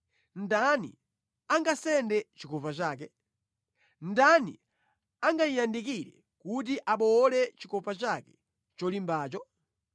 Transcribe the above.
Ndani angasende chikopa chake? Ndani angayiyandikire kuti abowole chikopa chake cholimbacho?